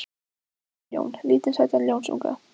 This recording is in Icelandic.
Mig langar í ljón, lítinn sætan ljónsunga.